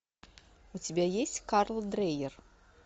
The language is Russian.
у тебя есть карл дрейер